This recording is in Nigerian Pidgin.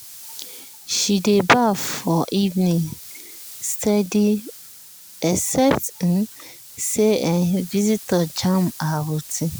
she dey baff for evening steady except um say um visitor jam her routine.